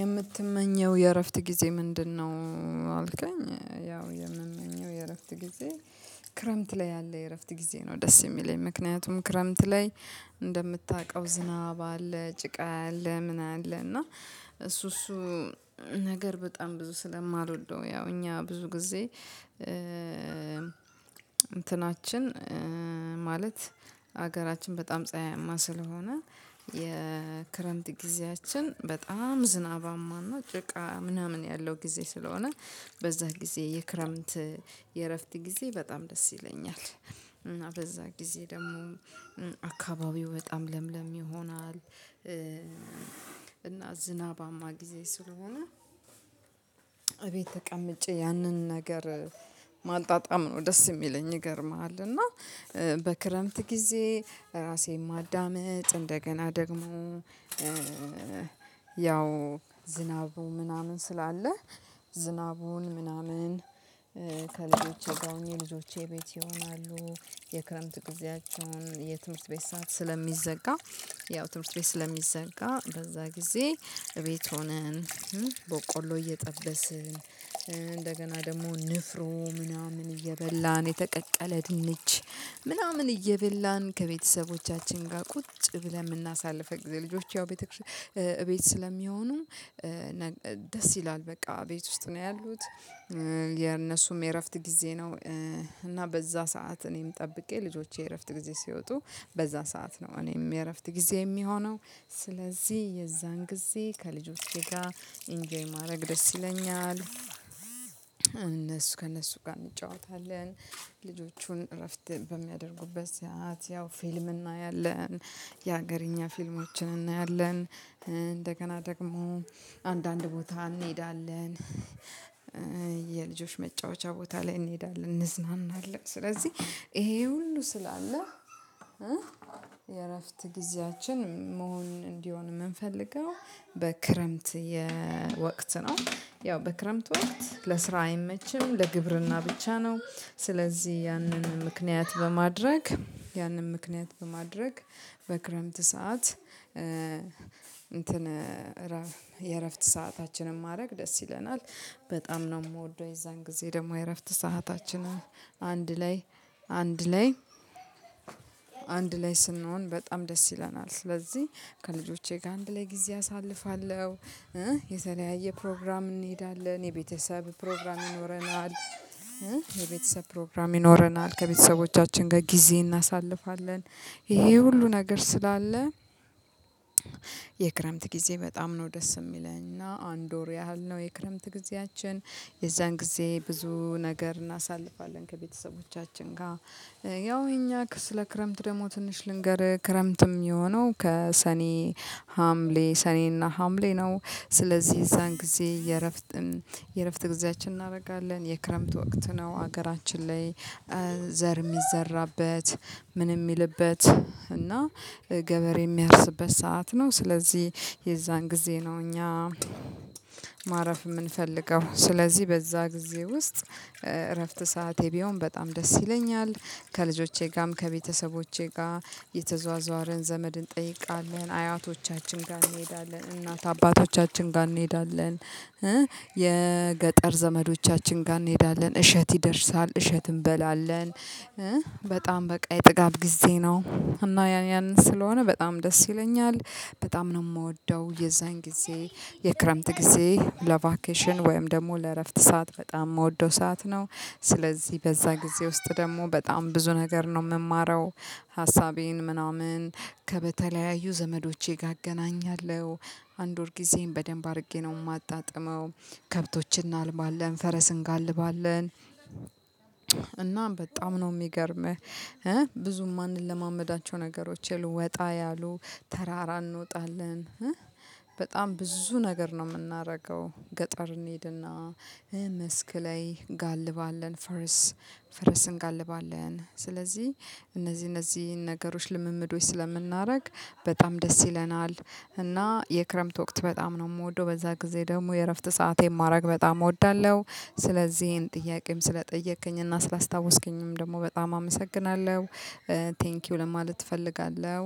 የምትመኘው የእረፍት ጊዜ ምንድነው? አልከኝ ያው የምመኘው የእረፍት ጊዜ ክረምት ላይ ያለ የእረፍት ጊዜ ነው። ደስ የሚለኝ ምክንያቱም ክረምት ላይ እንደምታቀው ዝናብ አለ ጭቃ አለ ምን አለ እና እሱ እሱ ነገር በጣም ብዙ ስለማልወደው ያው እኛ ብዙ ጊዜ እንትናችን ማለት ሀገራችን በጣም ጸሀይማ ስለሆነ የክረምት ጊዜያችን በጣም ዝናባማና ጭቃ ምናምን ያለው ጊዜ ስለሆነ በዛ ጊዜ የክረምት የእረፍት ጊዜ በጣም ደስ ይለኛል። እና በዛ ጊዜ ደግሞ አካባቢው በጣም ለምለም ይሆናል። እና ዝናባማ ጊዜ ስለሆነ እቤት ተቀምጬ ያንን ነገር ማጣጣም ነው ደስ የሚለኝ። ይገርምሃል እና በክረምት ጊዜ ራሴን ማዳመጥ እንደገና ደግሞ ያው ዝናቡ ምናምን ስላለ ዝናቡን ምናምን ከልጆቼ ጋር የልጆቼ ቤት ይሆናሉ የክረምት ጊዜያቸውን የትምህርት ቤት ሰዓት ስለሚዘጋ ያው ትምህርት ቤት ስለሚዘጋ በዛ ጊዜ እቤት ሆነን በቆሎ እየጠበስን እንደገና ደግሞ ንፍሮ ምናምን እየበላን የተቀቀለ ድንች ምናምን እየበላን ከቤተሰቦቻችን ጋር ቁጭ ብለን የምናሳልፈው ጊዜ ልጆች ያው ቤተክርስ እቤት ስለሚሆኑ ደስ ይላል። በቃ ቤት ውስጥ ነው ያሉት የእነሱም የእረፍት ጊዜ ነው። እና በዛ ሰዓት እኔም ጠብቄ ልጆቼ የእረፍት ጊዜ ሲወጡ በዛ ሰዓት ነው እኔም የእረፍት ጊዜ የሚሆነው ስለዚህ የዛን ጊዜ ከልጆቼ ጋር ኢንጆይ ማድረግ ደስ ይለኛል። እነሱ ከእነሱ ጋር እንጫወታለን ልጆቹን እረፍት በሚያደርጉበት ሰዓት ያው ፊልም እናያለን። የሀገርኛ ፊልሞችን እናያለን እንደገና ደግሞ አንዳንድ ቦታ እንሄዳለን። የልጆች መጫወቻ ቦታ ላይ እንሄዳለን እንዝናናለን ስለዚህ ይሄ ሁሉ ስላለ የእረፍት ጊዜያችን መሆን እንዲሆን የምንፈልገው በክረምት የወቅት ነው። ያው በክረምት ወቅት ለስራ አይመችም ለግብርና ብቻ ነው ስለዚህ ያንን ምክንያት በማድረግ ያንን ምክንያት በማድረግ በክረምት ሰዓት እንትን የእረፍት ሰአታችንን ማድረግ ደስ ይለናል። በጣም ነው የምወደው የዛን ጊዜ ደግሞ የእረፍት ሰአታችንን አንድ ላይ አንድ ላይ አንድ ላይ ስንሆን በጣም ደስ ይለናል ስለዚህ ከልጆቼ ጋር አንድ ላይ ጊዜ አሳልፋለሁ። የተለያየ ፕሮግራም እንሄዳለን የቤተሰብ ፕሮግራም ይኖረናል የቤተሰብ ፕሮግራም ይኖረናል ከቤተሰቦቻችን ጋር ጊዜ እናሳልፋለን። ይሄ ሁሉ ነገር ስላለ የክረምት ጊዜ በጣም ነው ደስ የሚለኝ። እና አንድ ወር ያህል ነው የክረምት ጊዜያችን የዛን ጊዜ ብዙ ነገር እናሳልፋለን ከቤተሰቦቻችን ጋር ያው የኛ ስለ ክረምት ደግሞ ትንሽ ልንገርህ ክረምትም የሚሆነው ከሰኔ ሀምሌ ሰኔና ሀምሌ ነው። ስለዚህ የዛን ጊዜ የእረፍት የእረፍት ጊዜያችን እናደርጋለን የክረምት ወቅት ነው ሀገራችን ላይ ዘር የሚዘራበት ምን የሚልበት እና ገበሬ የሚያርስበት ሰዓት ነው። ስለዚህ የዛን ጊዜ ነው እኛ ማረፍ የምንፈልገው ስለዚህ በዛ ጊዜ ውስጥ እረፍት ሰዓቴ ቢሆን በጣም ደስ ይለኛል። ከልጆቼ ጋም ከቤተሰቦቼ ጋ እየተዟዟርን ዘመድ እንጠይቃለን አያቶቻችን ጋር እንሄዳለን እናት አባቶቻችን ጋር እንሄዳለን የገጠር ዘመዶቻችን ጋ እንሄዳለን እሸት ይደርሳል እሸት እንበላለን። በጣም በቃ የጥጋብ ጊዜ ነው እና ያ ያን ስለሆነ በጣም ደስ ይለኛል በጣም ነው የምወደው የዛን ጊዜ የክረምት ጊዜ ለቫኬሽን ወይም ደግሞ ለእረፍት ሰዓት በጣም የምወደው ሰዓት ነው። ስለዚህ በዛ ጊዜ ውስጥ ደግሞ በጣም ብዙ ነገር ነው የምማረው ሀሳቤን ምናምን ከበተለያዩ ዘመዶቼ ጋ እገናኛለሁ አንድ ወር ጊዜየን በደንብ አድርጌ ነው የማጣጥመው። ከብቶች እናልባለን ፈረስ እንጋልባለን እና በጣም ነው የሚገርምህ ብዙ የማንለማመዳቸው ነገሮች የሉ ወጣ ያሉ ተራራ እንወጣለን። በጣም ብዙ ነገር ነው የምናረገው ገጠር እንሄድና መስክ ላይ እንጋልባለን ፈረስ ፈረስ እንጋልባለን ስለዚህ እነዚህ እነዚህን ነገሮች ልምምዶች ስለምናረግ በጣም ደስ ይለናል። እና የክረምት ወቅት በጣም ነው የምወደው በዛ ጊዜ ደግሞ የእረፍት ሰአቴን የማድረግ በጣም እወዳለሁ። ስለዚህ ይሄን ጥያቄም ስለጠየከኝ እና ስላስታወስከኝም ደግሞ በጣም አመሰግናለሁ ቴንኪው ለማለት እፈልጋለሁ።